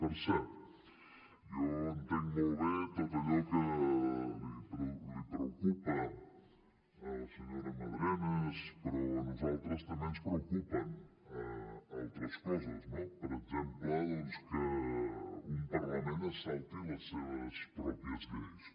per cert jo entenc molt bé tot allò que preocupa a la senyora madrenas però a nosaltres també ens preocupen altres coses no per exemple doncs que un parlament es salti les seves pròpies lleis